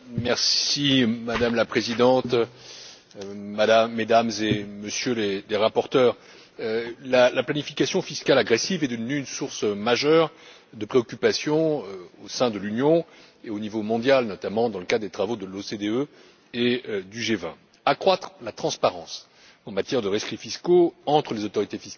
Madame la Présidente, Mesdames et Messieurs les rapporteurs, la planification fiscale agressive est devenue une source majeure de préoccupation au sein de l'Union et au niveau mondial, notamment dans le cadre des travaux de l'OCDE et du G20. Accroître la transparence en matière de rescrits fiscaux entre les autorités fiscales des États membres